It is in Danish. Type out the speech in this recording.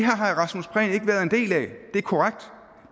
er korrekt